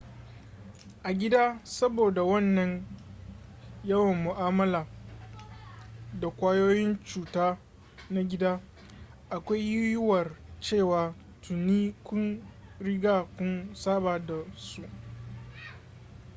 a gida saboda wannan yawan mu'amala da ƙwayoyin cuta na gida akwai yiyuwar cewa tuni kun riga kun saba da su